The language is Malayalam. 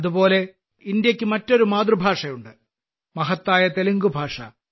അതുപോലെ ഇന്ത്യക്ക് മറ്റൊരു മാതൃഭാഷയുണ്ട് മഹത്തായ തെലുങ്ക്ഭാഷ